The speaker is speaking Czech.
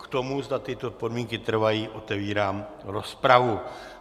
K tomu, zda tyto podmínky trvají, otevírám rozpravu.